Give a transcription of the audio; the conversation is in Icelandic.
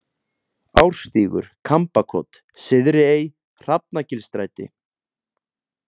Árstígur, Kambakot, Syðri-Ey, Hrafnagilsstræti